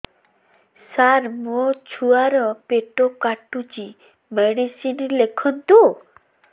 ସାର ମୋର ଛୁଆ ର ପେଟ କାଟୁଚି ମେଡିସିନ ଲେଖନ୍ତୁ